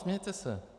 Smějte se.